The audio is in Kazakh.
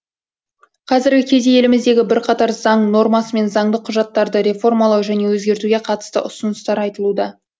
қазіргі кезде еліміздегі бірқатар заң нормасы мен заңды құжаттарды реформалау және өзгертуге қатысты ұсыныстар айтылуда